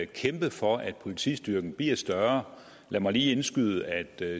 kæmpe for at politistyrken bliver større lad mig lige indskyde at